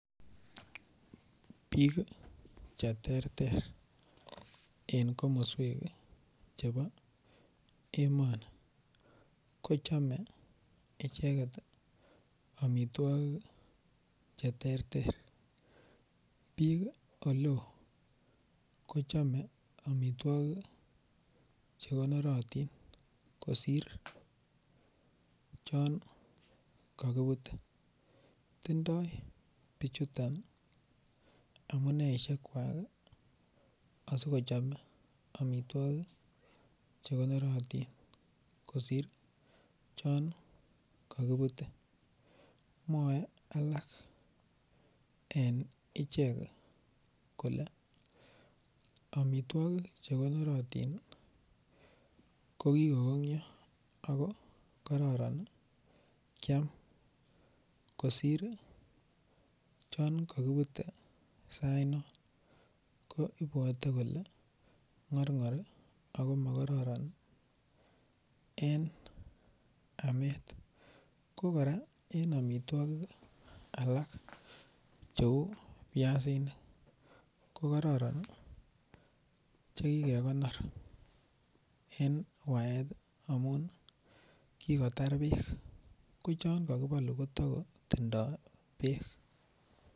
Bik Che terter en komoswek Chebo emoni kochome icheget amitwogik Che terter bik Oleo kochome amitwogik Che konorotin kosir chon kakibute tindoi bichuto amuneisiek kwak asi kochome amitwogik Che konorotin kosir chon kakibute mwoe en ichek kole amitwogik Che konorotin kokikongyo ako kororon kyam kosir chon kakibute sainon ko ibwote kole ngorngor ago makororon en amet ko kora en amitwogik alak cheu biasinik ko kororon Che kikekonor en waet amun ki kotar bek ko chon kakibolu kotoko tindoi bek